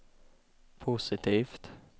positivt